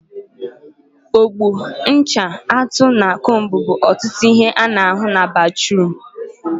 Ogbo, ncha, atụ, na combu bụ ọtụtụ ihe a na ahụ na batruum